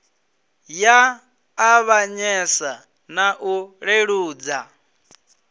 ya ṱavhanyesa na u leludza